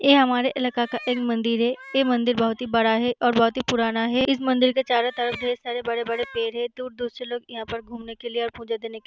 ये हमरा इलाका का मंदिर है ये मंदिर बहुत बड़ा है और बहुत ही पुराना है इस मंदिर के चोरो तरफ ढेर सारा बड़े-बड़े पेड़ है दूर-दूर से लोग यहां घूमने के लिए पूजा करने के लिए --